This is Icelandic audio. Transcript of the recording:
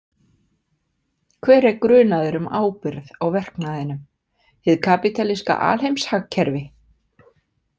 Hver er grunaður um ábyrgð á verknaðinum: hið kapítalíska alheimshagkerfi.